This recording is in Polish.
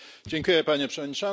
Panie Przewodniczący!